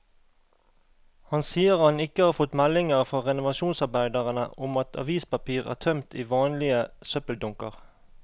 Han sier han ikke har fått meldinger fra renovasjonsarbeiderne om at avispapir er tømt i vanlige søppeldunker.